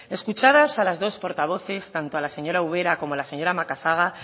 escuchadas a las dos portavoces tanto a la señora ubera como a la señora macazaga